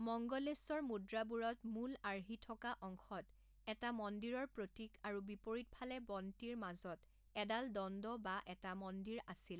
মঙ্গলেশ্বৰ মুদ্ৰাবোৰত মূল আৰ্হি থকা অংশত এটা মন্দিৰৰ প্ৰতীক আৰু বিপৰীত ফালে বন্তিৰ মাজত এডাল দণ্ড বা এটা মন্দিৰ আছিল।